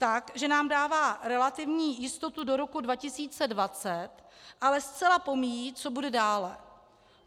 Tak, že nám dává relativní jistotu do roku 2020, ale zcela pomíjí, co bude dále.